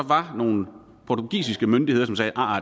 var nogle portugisiske myndigheder som sagde at